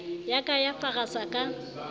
ya ka ya farasa ka